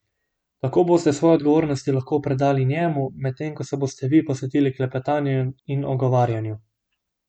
Tako boste svoje odgovornosti lahko predali njemu, medtem ko se boste vi posvetili klepetanju in ogovarjanju.